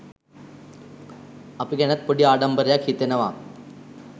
අපි ගැනත් පොඩි ආඩම්බරයක් හිතෙනවා